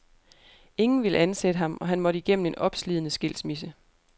Ingen ville ansætte ham, og han måtte igennem en opslidende skilsmisse.